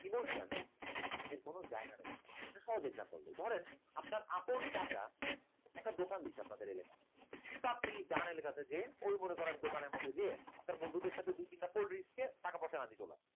emotion এর কোন জায়গা নেই, সহজে example দেই ধরেন আপনার আপন চাচা একটা দোকান দিচ্ছে আপনাদের এলাকায় তা আপনি যান এলাকাতে যে ওই মনে করেন দোকানের মধ্যে দিয়ে আপনার বন্ধুদের সাথে দুই তিনটা cold drinks খেয়ে টাকা পয়সা করলাম